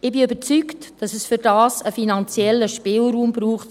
Ich bin überzeugt, dass es dazu für die GEF einen finanziellen Spielraum braucht.